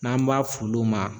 N'an b'a f'olu ma